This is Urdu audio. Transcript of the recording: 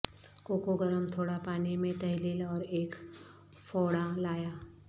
کوکو گرم تھوڑا پانی میں تحلیل اور ایک فوڑا لایا